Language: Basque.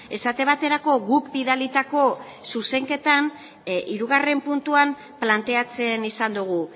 esate baterako guk bidalitako zuzenketan hirugarrena puntuan planteatzen izan dugu